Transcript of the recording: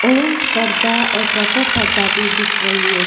Orange पर्दा और purple पर्दा भी दिख रही है।